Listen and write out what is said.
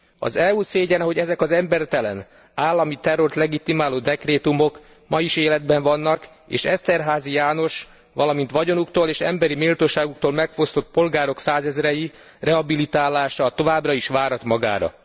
Az EU szégyene, hogy ezek az embertelen, állami terrort legitimáló dekrétumok ma is életben vannak, és Eszterházy János, valamint vagyonuktól és emberi méltóságuktól megfosztott polgárok százezrei rehabilitálása továbbra is várat magára.